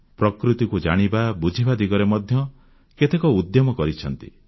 ପ୍ରକୃତିକୁ ଜାଣିବା ବୁଝିବା ଦିଗରେ ମଧ୍ୟ କେତେକ ଉଦ୍ୟମ କରିଛନ୍ତି